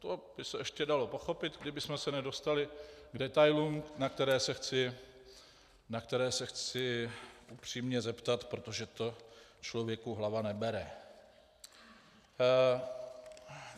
To by se ještě dalo pochopit, kdybychom se nedostali k detailům, na které se chci upřímně zeptat, protože to člověku hlava nebere.